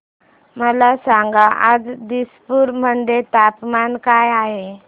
मला सांगा आज दिसपूर मध्ये तापमान काय आहे